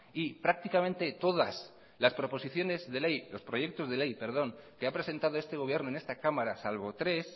y prácticamente todos los proyectos de ley que ha presentado este gobierno en esta cámara salvo tres